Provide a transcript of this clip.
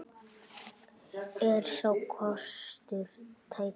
Er sá kostur tækur?